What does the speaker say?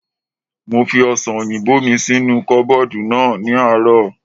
Mo fi ọ̀sàn òyìnbó mi sínú kọ́bọ̀dù náà ní àárọ̀